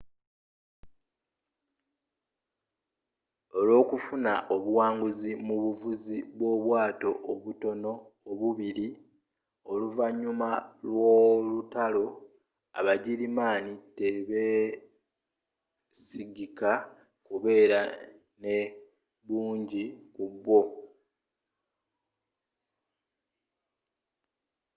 olwokufuna obuwanguzi mu bavuzi b'obwato obutono obubbira oluvanyuma lw'olutalo abagirimaani tebesigika kubeera ne bungi ku bwo